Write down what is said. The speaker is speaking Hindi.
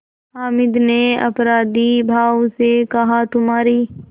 हामिद ने अपराधीभाव से कहातुम्हारी